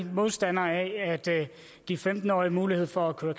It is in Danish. modstandere af at give femten årige mulighed for at køre